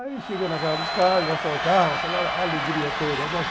Aí cheguei na casa dos pais, mostro o carro, aquela alegria toda, né?